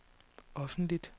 offentligt